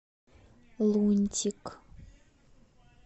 лунтик